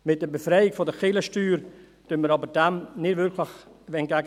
Mit der Befreiung von der Kirchensteuer wirken wir dem jedoch nicht wirklich entgegen.